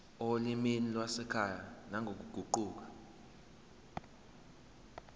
olimini lwasekhaya nangokuguquka